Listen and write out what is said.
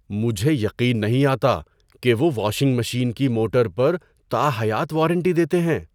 مجھے یقین نہیں آتا کہ وہ واشنگ مشین کی موٹر پر تاحیات وارنٹی دیتے ہیں۔